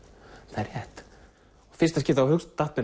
það er rétt í fyrsta skipti datt mér